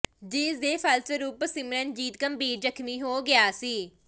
ਜਿਸ ਦੇ ਫਲਸਰੂਪ ਸਿਮਰਨਜੀਤ ਗੰਭੀਰ ਜ਼ਖ਼ਮੀ ਹੋ ਗਿਆ ਸੀ